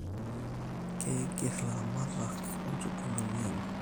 Keigir ilaramatak inchugulini enye